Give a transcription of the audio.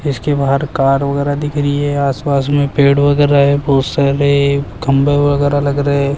इसके बाहर कार वगैरह दिख रही है आसपास में पेड़ वगैरह है बहोत सारे खंबे वगैरह लग रहे --